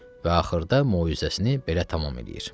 Və axırda möizəsini belə tamam eləyir.